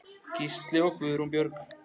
Gísli og Guðrún Björg.